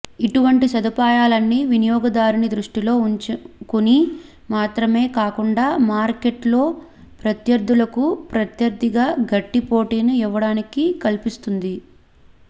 ఇటువంటి సదుపాయాలన్నీ వినియోగదారుని దృష్టిలో ఉంచుకుని మాత్రమే కాకుండా మార్కెట్ లో ప్రత్యర్థులకు ప్రత్యర్థిగా గట్టి పోటీని ఇవ్వడానికి కల్పిస్తుంది